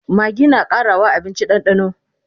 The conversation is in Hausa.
maggi na Karawa abinci dandano